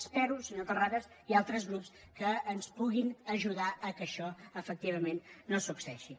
espero senyor terrades i altres grups que ens puguin ajudar que això efectivament no succeeixi